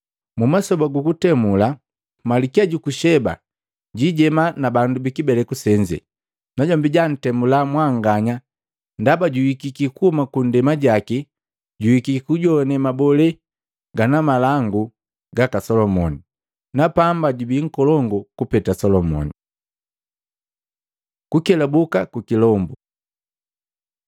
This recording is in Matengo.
Mmasoba gu kutemula, Malikia juku Sheba jijema na bandu bi kibeleku senze, najombi jantemula mwanganya ndaba juhikiki kuhuma kunndema jaki juhikiki kujoane mabolee gana malangu gaka Salumoni, na pamba jubii nkolongu kupeta Solomoni. Kukelabuka ku kilombu Luka 11:24-26